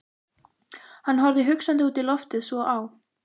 Hann horfði hugsandi út í loftið, svo á